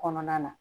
Kɔnɔna na